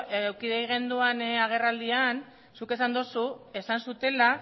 eduki genuen agerraldian zuk esan duzu esan zutela